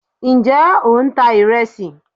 njẹ o n ta iresí